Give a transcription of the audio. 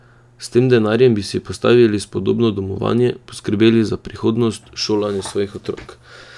S tem denarjem bi si postavili spodobno domovanje, poskrbeli za prihodnost, šolanje svojih otrok.